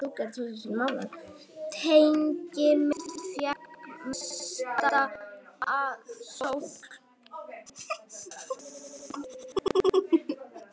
Teiknimynd fékk mesta aðsókn